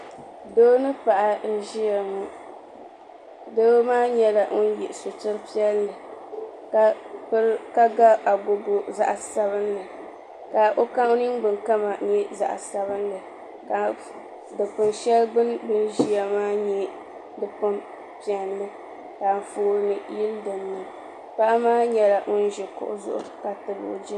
Doo ni paɣa n ʒiya ŋɔ. doo maa nyɛla ŋun ye sitira piɛli ka ga agogo zaɣi sabinli. ka ɔkama nyɛ zaɣi sabinli. ka dikpuni shɛli gbuni bini ʒiya nyɛ dikpuni piɛli ka anfɔɔni yili dipuuni ka paɣa maa nyɛla ŋun ʒi kuɣu zuɣu